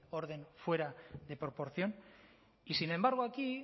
orden fuera de proporción y sin embargo aquí